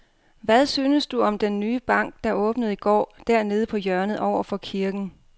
Hvad synes du om den nye bank, der åbnede i går dernede på hjørnet over for kirken?